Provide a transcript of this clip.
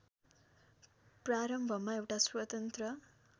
प्रारम्भमा एउटा स्वतन्त्र